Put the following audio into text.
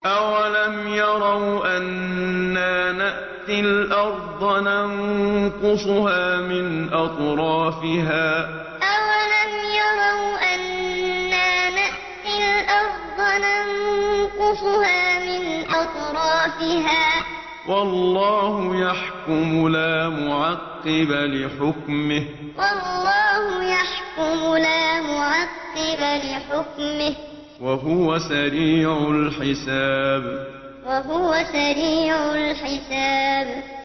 أَوَلَمْ يَرَوْا أَنَّا نَأْتِي الْأَرْضَ نَنقُصُهَا مِنْ أَطْرَافِهَا ۚ وَاللَّهُ يَحْكُمُ لَا مُعَقِّبَ لِحُكْمِهِ ۚ وَهُوَ سَرِيعُ الْحِسَابِ أَوَلَمْ يَرَوْا أَنَّا نَأْتِي الْأَرْضَ نَنقُصُهَا مِنْ أَطْرَافِهَا ۚ وَاللَّهُ يَحْكُمُ لَا مُعَقِّبَ لِحُكْمِهِ ۚ وَهُوَ سَرِيعُ الْحِسَابِ